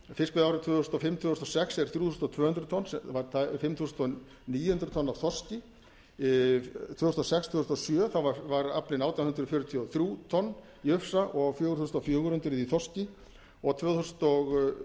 fiskveiðiárið tvö þúsund og fimm til tvö þúsund og sex er þrjú þúsund tvö hundruð tonn var fimm þúsund níu hundruð tonn af þorski tvö þúsund og sex til tvö þúsund og sjö var aflinn átján hundruð fjörutíu og þrjú tonn í ufsa og fjögur þúsund fjögur hundruð í þorski og tvö þúsund og